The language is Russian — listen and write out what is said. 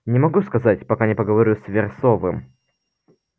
не могу сказать пока не поговорю с версовым